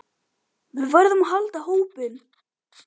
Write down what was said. Við verðum að halda hópinn!